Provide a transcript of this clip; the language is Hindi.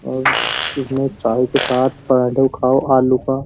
और इसमें चाय के साथ पराठे खाओ आलू का।